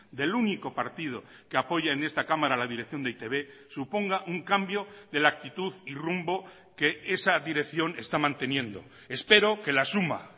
del único partido que apoya en esta cámara a la dirección de e i te be suponga un cambio de la actitud y rumbo que esa dirección esta manteniendo espero que la suma